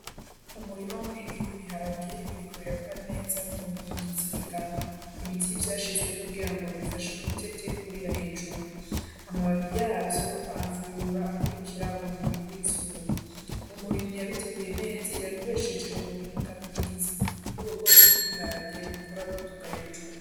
Umurima munini w'ibiharage biriko birakura neza ku nkingi z'imigano, ibiti vyashizweho kugira ngo bifashe umutete kurira hejuru, amababi yavyo avyurira akurikira urumuri rw'izuba, umurimyi yabiteguye neza yakoresheje ubuhinga bwiza kuko ubwo bwoko bw'ibiharage bukura buduga hejuru.